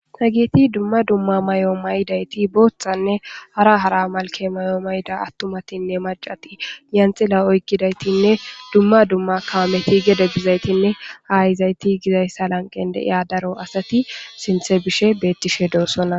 Hageti dumma dumma mayo mayayti boothanne hara hara malike mayo mayida atumatinne macati yanxila oyikidayitinne dumma dumma kameti gede bizayitinne ha yizayiti gizayisa lanqen deiya daro asati sinte bishe betishe deosona.